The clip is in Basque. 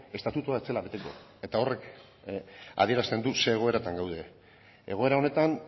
estatutua ez zela beteko eta horrek adierazten du zer egoeratan gauden egoera honetan